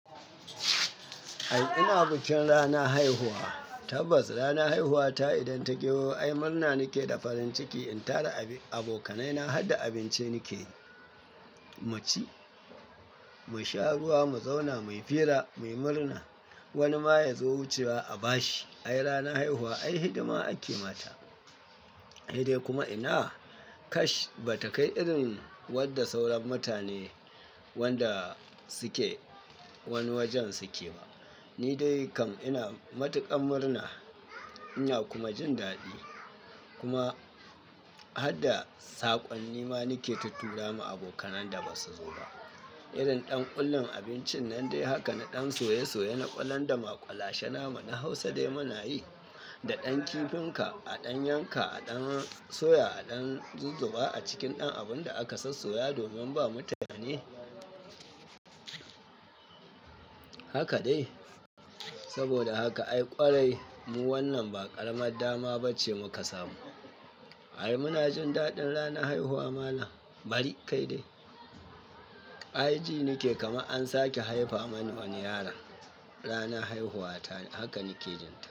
Ai ina bikin rana haihuwa, tabbas rana haihuwa ta idan ta gyawa yo ai murna nake da farin ciki in tara abin abokanai na harda abinci nake, mu ci, mu sha ruwa, mu zauna, muyi fira, muyi murna wani ma ya zo wucewa a bashi. Ai rana haihuwa ai hidima ake mata. Sai dai kuma ina kash ba takai irin wanda sauran mutane wanda suke wani wajen suke ba. Ni dai kam ina matuƙar murna ina kuma jin daɗi kuma harda saƙonni ma nake tutturawa abokanan da basu zo ba. Irin ɗan ƙullin abincin nan dai haka na ɗan soye soye na ƙwalan da maƙulashe namu na Hausa dai muna yi da ɗan kifin ka, a ɗan yanka, a ɗan soya, a ɗan zuzzuba a cikin ɗan abun da aka sassoya domin ba mutane. Haka dai, saboda haka ai ƙwarai mu wannan ba ƙaramar dama bace muka samu. Ai muna jin daɗin rana haihuwa malan bari kai dai. Ji nake kama an sake haifa mani wani yaron. Rana haihuwa ta haka nake jin ta.